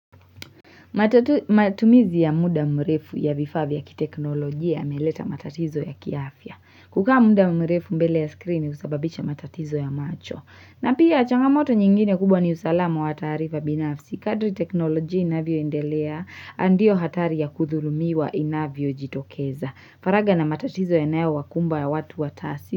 Matumizi ya muda mrefu ya vifaa vya kiteknolojia yameleta matatizo ya kiafya. Kukaa muda mrefu mbele ya screen husababisha matatizo ya macho. Na pia changamoto nyingine kubwa ni usalamu wa taarifa binafsi. Kadri teknolojia inavyoendelea ndio hatari ya kuthulumiwa inavyojitokeza. Faraga na matatizo yanaowakumba ya watu wa tasi.